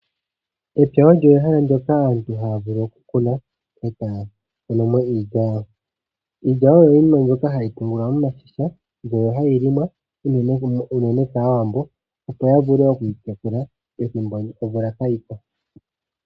Epya olyo ehala ndyoka aantu haya vulu okukuna, e taya kunu mo iilya yawo. Iilya oyo iinima mbyoka hayi pungulwa momashisha, mbyono hayi liwa unene kaawambo, opo yavule okwiitekula, ngele omvula kaayiko.